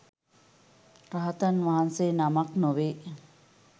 රහතන් වහන්සේ නමක් නොවේ